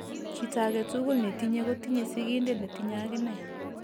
Chito agetugul netinye kotinye sigindet netinye agine